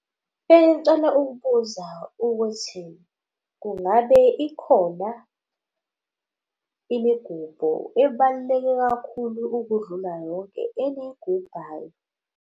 Bengicela ukubuza ukuthi kungabe ikhona imigubho ebaluleke kakhulu ukudlula yonke eniyigubhayo?